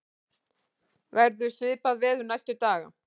verður svipað veður næstu daga